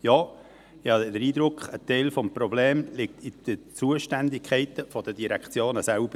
Ja, ich habe den Eindruck, ein Teil des Problems liege in den Zuständigkeiten der Direktionen selbst.